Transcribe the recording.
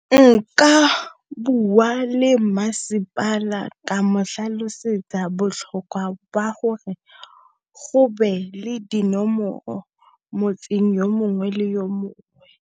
Nka bua le masepala ka mo tlhalosetsa jwa gore go be le dinomoro motseng yo mongwe le yo mongwe.